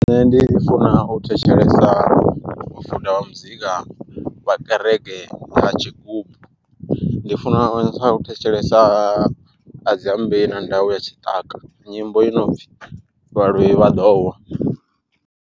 Nṋe ndi funa u thetshelesa mufuda wa muzika vha kereke na tshigubu, ndi funa u thetshelesa Adziambei na Ndau ya tshiṱaka nyimbo i no pfhi vhaloi vha ḓo wa.